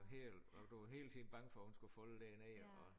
Helt og du var hele tiden bange for hun skulle falde der ned og